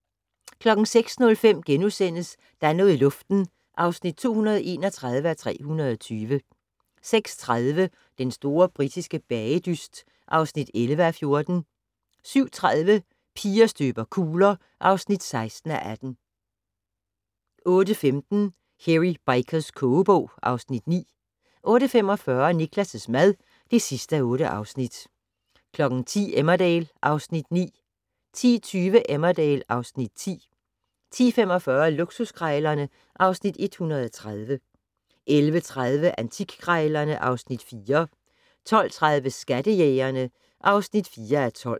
06:05: Der er noget i luften (231:320)* 06:30: Den store britiske bagedyst (11:14) 07:30: Piger støber kugler (16:18) 08:15: Hairy Bikers kogebog (Afs. 9) 08:45: Niklas' mad (8:8) 10:00: Emmerdale (Afs. 9) 10:20: Emmerdale (Afs. 10) 10:45: Luksuskrejlerne (Afs. 130) 11:30: Antikkrejlerne (Afs. 4) 12:30: Skattejægerne (4:12)